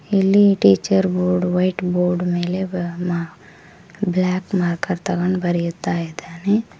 ಇಲ್ಲಿ teacher board white board ಮೇಲೆ black marker ತೊಗೊಂಡ ಬರಿಯುತ್ತ ಇದ್ದಾನೆ.